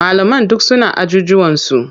Malaman duk suna ajujuwansu.